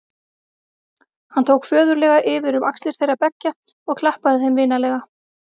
Hann tók föðurlega yfir um axlir þeirra beggja og klappaði þeim vinalega.